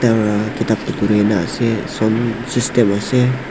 kitabh bhi dhurena ase sound system ase.